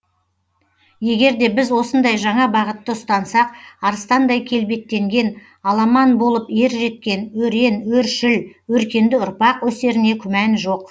егерде біз осындай жаңа бағытты ұстансақ арыстандай келбеттенген аламан болып ер жеткен өрен өршіл өркенді ұрпақ өсеріне күмән жоқ